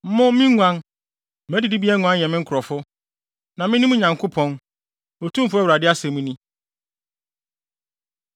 Mo, me nguan, mʼadidibea nguan yɛ me nkurɔfo, na mene mo Nyankopɔn, Otumfo Awurade asɛm ni.’ ”